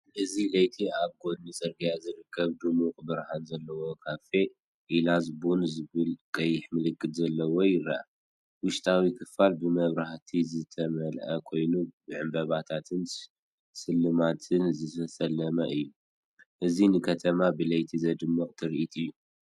እዚ ለይቲ ኣብ ጐድኒ ጽርግያ ዝርከብ ድሙቕ ብርሃን ዘለዎ ካፈ፡ ‘ኤላዝ ቡን’ ዝብል ቀይሕ ምልክት ዘለዎ፡ ይርአ። ውሽጣዊ ክፍሊ ብመብራህቲ ዝተመልአ ኮይኑ ብዕምባባታትን ስልማትን ዝተሰለመ እዩ። እዚ ንከተማ ብለይቲ ዘደንቕ ትርኢት እዩ።